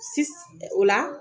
o la